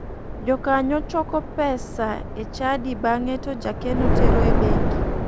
Jokanyo choko pesa e chadi bange to jakeno tero e bengi.